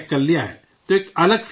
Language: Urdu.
تو ایک الگ فیلنگ آتا ہے